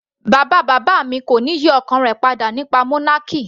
Bàbá bàbá mi kò ní yí ọkàn rẹ̀ padà nípa monarchy.